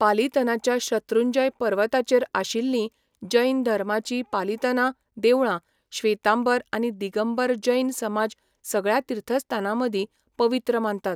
पालितनाच्या शत्रुंजय पर्वताचेर आशिल्लीं जैन धर्माचीं पालितना देवळां श्वेतांबर आनी दिगंबर जैन समाज सगळ्या तीर्थस्थानांमदीं पवित्र मानतात.